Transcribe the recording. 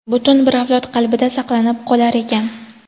butun bir avlod qalbida saqlanib qolar ekan.